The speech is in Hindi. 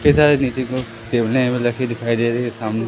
इतने सारे नीचे की तरफ टेबलें मतलब कि दिखाई दे रही है सामने।